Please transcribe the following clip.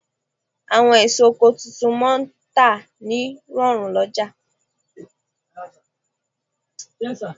Àwọn èso oko tuntun máà ń tà ní rọ̀rùn lọ́jà